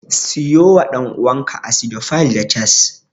Siyo wa ɗan'uwanka Acidophile da Chaas.